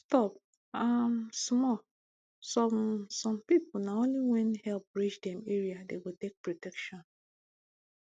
stop um small some some people na only when help reach dem area dem go take protection